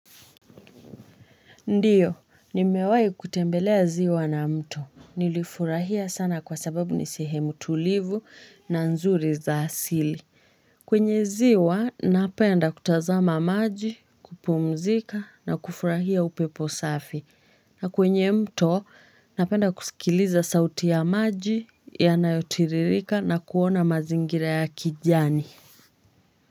Ndiyo, nimewahi kutembelea ziwa na mto. Nilifurahia sana kwa sababu ni sehemu tulivu na nzuri za asili. Kwenye ziwa, napenda kutazama maji, kupumzika na kufurahia upepo safi. Na kwenye mto, napenda kusikiliza sauti ya maji, yanayotiririka na kuona mazingira ya kijani.